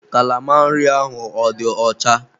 Kalama nri ahụ ọ dị ọcha?